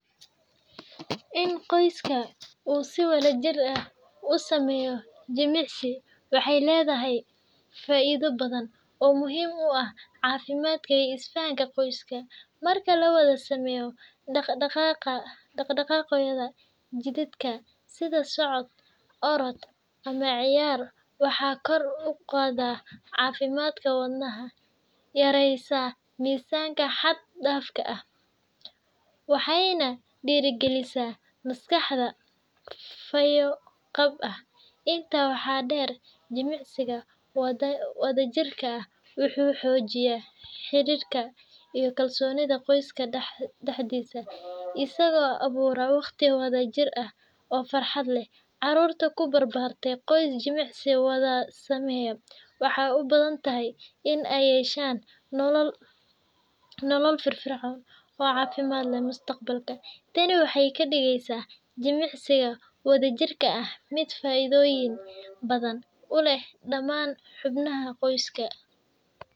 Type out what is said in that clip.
In qoyska uu si wadajir ah u sameeyo jimicsi waxay leedahay faa’iidooyin badan oo muhiim u ah caafimaadka iyo isfahanka qoyska. Marka la wada sameeyo dhaqdhaqaaqyo jidheed sida socod, orod, ama ciyaar, waxay kor u qaadaa caafimaadka wadnaha, yareysaa miisaanka xad dhaafka ah, waxayna dhiirrigelisaa maskax fayo qab ah. Intaa waxaa dheer, jimicsiga wadajirka ah wuxuu xoojiyaa xiriirka iyo kalsoonida qoyska dhexdiisa, isagoo abuura waqti wadajir ah oo farxad leh. Caruurta ku barbaarta qoys jimicsi wada sameeya waxay u badan tahay in ay yeeshaan nolol firfircoon oo caafimaad leh mustaqbalka. Tani waxay ka dhigaysaa jimicsiga wadajirka ah mid faa’iidooyin badan u leh dhammaan xubnaha qoyska.